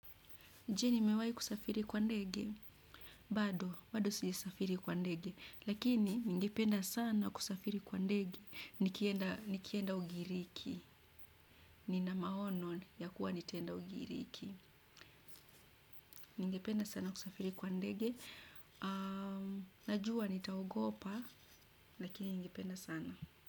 Je nimewahi kusafiri kwa ndege? Bado, bado sijasafiri kwa ndege. Lakini, ningependa sana kusafiri kwa ndege. Nikienda ugiriki. Nina maono ya kuwa nitenda ugiriki. Ningependa sana kusafiri kwa ndege. Najua, nitaogopa. Lakini, nyingipenda sana.